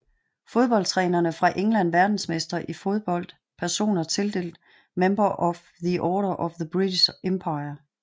Fodboldtrænere fra England Verdensmestre i fodbold Personer tildelt Member of the Order of the British Empire